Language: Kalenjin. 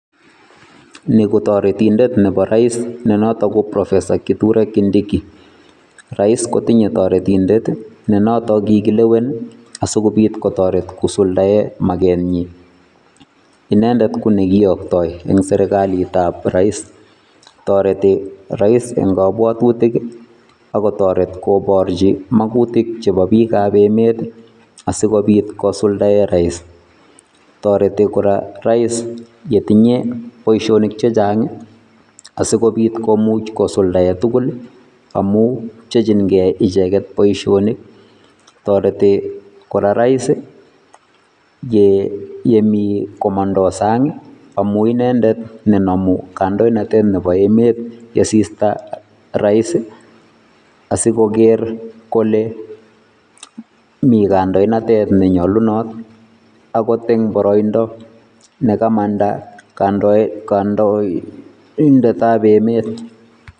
Ni ko toretindet nebo rais nenoton ko kithure kindiki, Raisi kotinye toretindet nenoton kikilewen asikobit kosuldaen makenyin. Inendet konekiyoktoi en serkalitab rais toreti rais en kobwotutik ak kotoret koborchi maakutik chebo biikam emet asikobiit kosuldaen raisi yetinye boishonik chechang asikobiit kosuldaen tugul amu pchechin key icheget boishonik, toreti kora rais yemi komondo sang amun inendet nenomu kandoinatet nebo emet yesista rais asikoker mii kandoinatet nenyolunot okot eng boroindo nekamanda kandoindetab emet